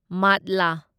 ꯃꯥꯠꯂꯥ